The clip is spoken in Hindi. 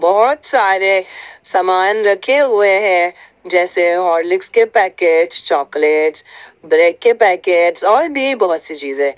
बहुत सारे सामान रखे हुए हैं जैसे हॉर्लिक्स के पैकेट्स चॉकलेट्स ब्रेड के पैकेट्स और भी बहुत सी चीजें।